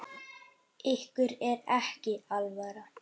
Ykkur er ekki alvara!